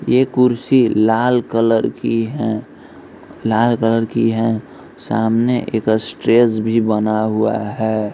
ये कुर्सी लाल कलर की हैं लाल कलर की हैं सामने एक अट्रेस भी बना हुआ है।